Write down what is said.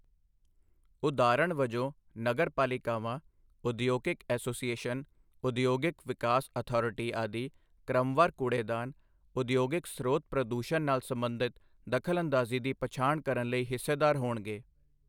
ਉਦਾਹਰਣ ਵਜੋਂ, ਨਗਰ ਪਾਲਿਕਾਵਾਂ, ਉਦਯੋਗਿਕ ਐਸੋਸੀਏਸ਼ਨ, ਉਦਯੋਗਿਕ ਵਿਕਾਸ ਅਥਾਰਟੀ ਆਦਿ ਕ੍ਰਮਵਾਰ ਕੂੜੇਦਾਨ, ਉਦਯੋਗਿਕ ਸਰੋਤ ਪ੍ਰਦੂਸ਼ਣ ਨਾਲ ਸਬੰਧਤ ਦਖਲਅੰਦਾਜ਼ੀ ਦੀ ਪਛਾਣ ਕਰਨ ਲਈ ਹਿੱਸੇਦਾਰ ਹੋਣਗੇ।